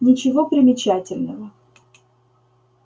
ничего примечательного